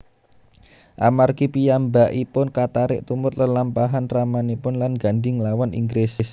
Amargi piyambakipun katarik tumut lelampahan ramanipun lan Gandhi nglawan Inggris